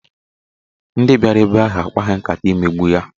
Ndị bịara ebe ahụ akpaghị nkata imegbu ya.